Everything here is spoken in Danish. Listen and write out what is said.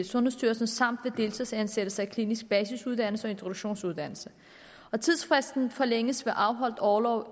sundhedsstyrelsen samt ved deltidsansættelse i klinisk basisuddannelse og introduktionsuddannelse tidsfristen forlænges ved afholdt orlov